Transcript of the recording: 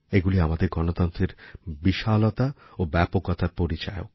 এগুলি আমাদের গণতন্ত্রের বিশালতা ও ব্যাপকতার পরিচায়ক